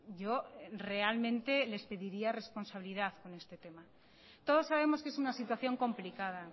yo realmente les pediría responsabilidad con este tema todos sabemos que es una situación complicada